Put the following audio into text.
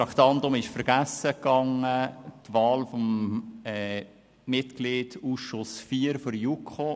Wahl eines Grossratsmitglieds der EDU als Mitglied in den Ausschuss IV der JuKo